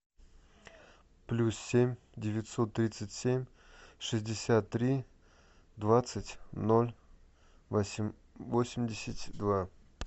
плюс семь девятьсот тридцать семь шестьдесят три двадцать ноль восемьдесят два